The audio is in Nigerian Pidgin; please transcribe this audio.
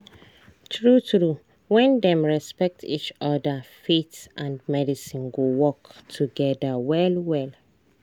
true true when dem respect each other faith and medicine go work together well well